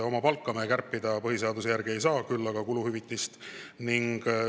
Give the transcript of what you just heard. Oma palka me kärpida põhiseaduse järgi ei saa, küll aga kuluhüvitisi.